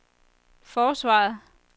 forsvaret